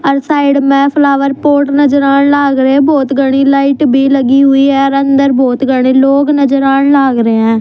अर side म flower pot नज़र आण लाग रे ह बहुत घणी लाइट भी लगी हुई ह अर अंदर बहोत घणे लोग नजर आण लाग रे हं।